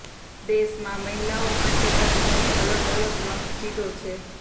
દેશમાં મહિલાઓ માટે પણ ઘણી અલગ અલગ મસ્જિદો છે